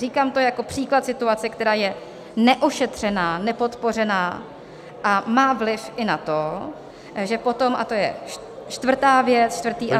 Říkám to jako příklad situace, která je neošetřená, nepodpořená a má vliv i na to, že potom, a to je čtvrtá věc, čtvrtý aspekt...